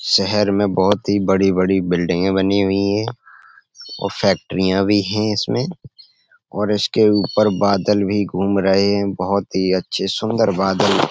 शहर में बहोत ही बड़ी-बड़ी बिल्डिंगें बनी हुई हैं और फैक्ट्रियाँ भी हैं इसमें और इसके ऊपर बादल भी घूम रहे हैं बोहोत ही अच्छे सुंदर बादल।